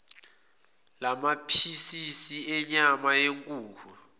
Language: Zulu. lamaphisisi enyama yenkukhu